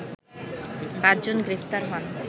পাঁচজন গ্রেপ্তার হন